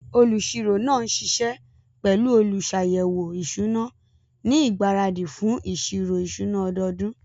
Olùṣirò náà ń ṣiṣẹ́ pẹ̀lú olùṣàyẹ̀wò ìṣúná ní ìgbáradì fún ìṣirò ìṣúná ọdọọdún.